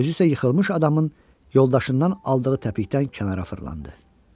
Özü isə yıxılmış adamın yoldaşından aldığı təpikdən kənara fırlandı.